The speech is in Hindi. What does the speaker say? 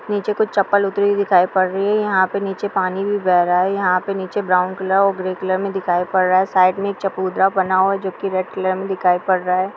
नीचे कुछ चप्पल उतरी हुई दिखाई पड़ रही है। यहाँ पे नीचे पानी भी बह रहा है। यहाँ पे नीचे ब्राउन कलर ग्रे कलर पे है साइड में। एक चापुद्र बना हुआ है जो की रेड कलर में दिखाई पड़ रहा है।